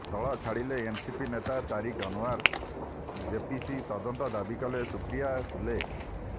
ଦଳ ଛାଡ଼ିଲେ ଏନ୍ସିପି ନେତା ତାରିକ୍ ଅନୱର ଜେପିସି ତଦନ୍ତ ଦାବି କଲେ ସୁପ୍ରିୟା ସୁଲେ